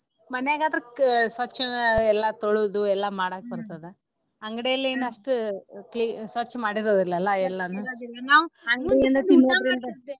ಮನ್ಯಾಗ ಆದ್ರ ಸ್ವಚ್ಛಗ ಎಲ್ಲಾ ತೊಳದು ಎಲ್ಲಾ ಮಾಡಾಕ ಬರ್ತದ ಅಂಗಡಿಲಿ ಏನ ಅಷ್ಟ cle~ ಸ್ವಚ್ಛ ಮಾಡಿರಲ ಅಲಾ ಎಲ್ಲಾನು .